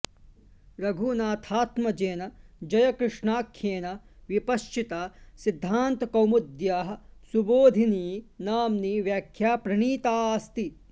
रघुनाथात्मजेन जयकृष्णाख्येन विपश्चिता सिद्धान्तकौमुद्याः सुबोधिनी नाम्नी व्याख्या प्रणीताऽस्ति